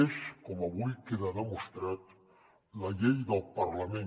és com avui queda demostrat la llei del parlament